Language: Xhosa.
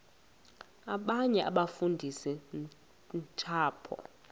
abanye abafundisi ntshapo